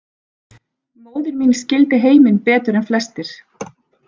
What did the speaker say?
Móðir mín skildi heiminn betur en flestir.